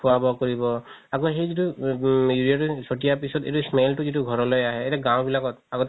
খুৱা বুৱা কৰিব আকৌ সেই যিতো urea চতিয়া পিছত এইটো smell তো যিতো ঘৰলৈ আহে এতিয়া গাও বিলাকত আগতে